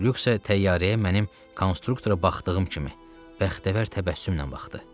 Lük isə təyyarəyə mənim konstruktora baxdığım kimi bəxtəvər təbəssümlə baxdı.